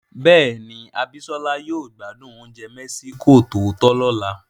Bẹ́ẹ̀ni, Abisola yóò gbádùn oúnjẹ mexico tòótọ́ lọ́la.